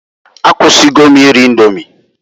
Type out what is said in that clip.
Akwụsigo m iri Indomi.